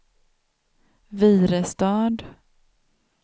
Virestad